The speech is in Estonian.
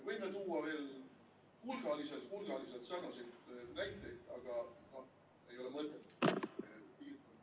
Võime tuua veel hulgaliselt-hulgaliselt sarnaseid näiteid, aga ei ole mõtet.